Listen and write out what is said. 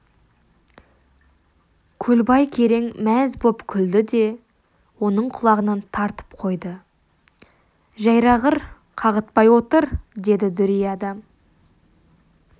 көлбай керең мәз боп күлді де оның құлағынан тартып қойды жәйрағыр қағытпай отыр деді дүрия да